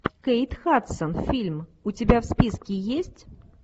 кейт хадсон фильм у тебя в списке есть